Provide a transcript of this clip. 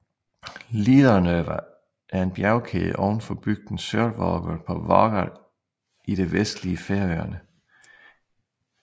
Líðarnøva er en bjergkæde ovenfor bygden Sørvágur på Vágar i det vestlige Færøerne